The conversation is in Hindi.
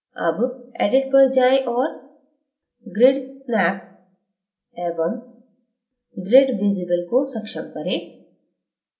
अब edit पर जाएं और grid snap एवं grid visible को सक्षम करें